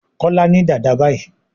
Kola ní Dàda bayí.